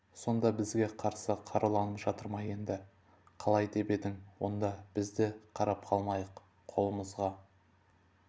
сонда бізге қарсы қаруланып жатыр ма енді қалай деп едің онда біз де қарап қалмайық қолымызға